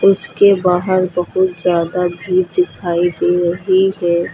इसके बाहर बहुत ज्यादा भीड़ दिखाई दे रही है।